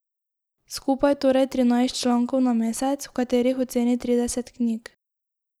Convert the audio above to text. Skupaj torej trinajst člankov na mesec, v katerih oceni trideset knjig.